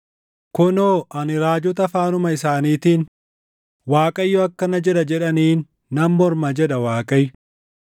“Kunoo ani raajota afaanuma isaaniitiin, ‘ Waaqayyo akkana jedha’ jedhaniin nan morma” jedha Waaqayyo.